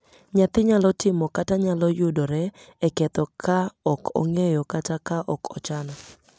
Nyathi nyalo timo kata nyalo yudore e ketho ka ok ong'eyo kata ka ok ochano.